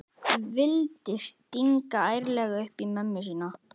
Vildi stinga ærlega upp í mömmu sína.